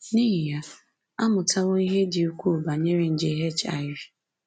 N’ihi ya, a mụtawo ihe dị ukwuu banyere nje HIV.